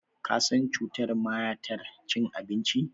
Ka san cutar mayatar cin abinci?